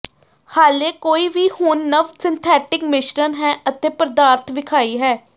ਹਾਲੇ ਕੋਈ ਵੀ ਹੁਣ ਨਵ ਸਿੰਥੈਟਿਕ ਮਿਸ਼ਰਣ ਹੈ ਅਤੇ ਪਦਾਰਥ ਵਿਖਾਈ ਹੈ